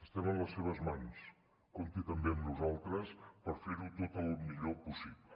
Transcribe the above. estem en les seves mans compti també amb nosaltres per fer ho tot el millor possible